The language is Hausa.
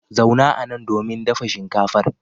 Zauna anan domin dafa shinkafar.